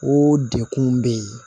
O dekun bɛ yen